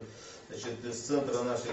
значит из центра нашей